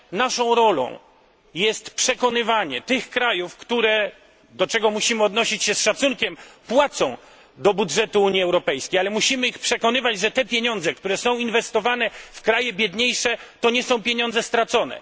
Naszą rolą jest przekonywanie tych krajów, które do czego musimy odnosić się z szacunkiem płacą do budżetu Unii Europejskiej, ale musimy je przekonywać, że te pieniądze, które są inwestowane w kraje biedniejsze, to nie są pieniądze stracone.